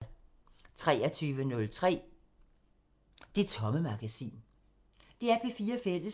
DR P4 Fælles